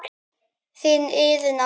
Þín Iðunn amma.